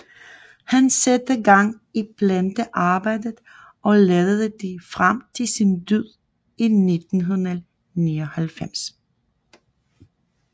Han satte gang i plantearbejdet og ledede det frem til sin død i 1999